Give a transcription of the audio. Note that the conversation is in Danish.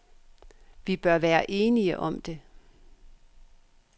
Vi bør være enige om det.